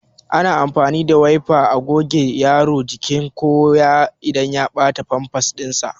Ana amfani da Wayfa a gogewa Yaro jiki ko inda ya bata Famfas din sa